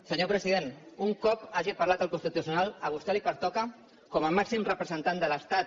senyor president un cop hagi parlat el constitucional a vostè li pertoca com a màxim representant de l’estat